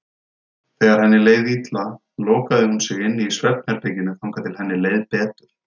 Þegar henni leið illa lokaði hún sig inni í svefnherberginu þangað til henni leið betur.